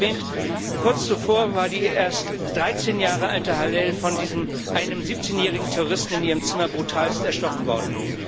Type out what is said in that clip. Wie bereits erwähnt Kurz zuvor war die erst 13 Jahre alte Hallel von einem 17 jährigen Terroristen in ihrem Zimmer brutalst erstochen worden.